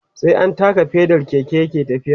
sai an taka pedal Keke yake tafiya